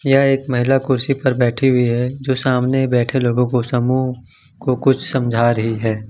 यह एक महिला कुर्सी पर बैठी हुई है जो सामने बैठे लोगों को समूह को कुछ समझ रही है ।